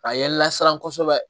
A ye n lasiran kosɛbɛ